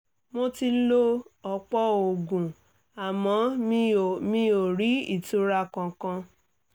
mo ti lo ọ̀pọ̀ oògùn àmọ́ mi ò mi ò rí ìtura kankan